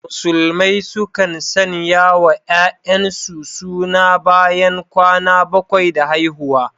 Musulmai sukan sanyawa ‘ya’yansu suna bayan kwana bakwai da haihuwa.